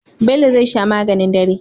Bello zai sha maganin dare